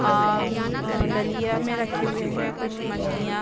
अं अ डलिया मे रखे हुए है कुछ मछलियां --